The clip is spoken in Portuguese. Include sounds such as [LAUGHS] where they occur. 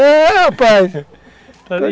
É, rapaz! [LAUGHS]